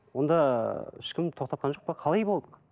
онда ешкім тоқтатқан жоқ па қалай болды